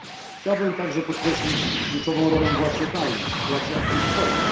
Chciałbym także podkreślić kluczową rolę władz lokalnych w sytuacjach kryzysowych.